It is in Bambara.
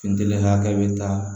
Funteli hakɛ bɛ taa